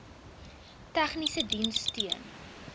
tegniese diens steun